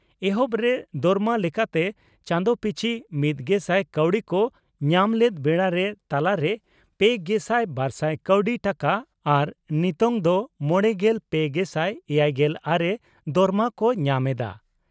ᱮᱦᱚᱵ ᱨᱮ ᱫᱚᱨᱢᱟ ᱞᱮᱠᱟᱛᱮ ᱪᱟᱸᱫᱚ ᱯᱤᱪᱷᱤ ᱢᱤᱛᱜᱮᱥᱟᱭ ᱠᱟᱣᱰᱤ ᱠᱚ ᱧᱟᱢ ᱞᱮᱫ ᱵᱮᱲᱟᱨᱮ ᱛᱟᱞᱟ ᱨᱮ ᱯᱮᱜᱮᱥᱟᱭ ᱵᱟᱨᱥᱟᱭ ᱠᱟᱣᱰᱤ ᱴᱟᱠᱟ ᱟᱨ ᱱᱤᱛᱚᱝ ᱫᱚ ᱢᱚᱲᱮᱜᱮᱞ ᱯᱮ ᱜᱮᱥᱟᱭ ᱮᱭᱟᱭᱜᱮᱞ ᱟᱨᱮ ᱫᱚᱨᱢᱟ ᱠᱚ ᱧᱟᱢ ᱮᱫᱼᱟ ᱾